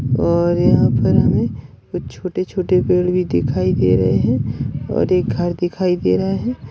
और यहा पर हमे कुछ छोटे छोटे पेड़ भी दिखाई दे रहे है और एक घर दिखाई दे रहा है।